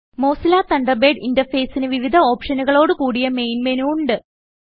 Mozilla Thunderbird ഇന്റർഫേസിന് വിവിധ ഓപ്ഷനുകളോട് കുടിയ മെയിൻ മെനു ഉണ്ട്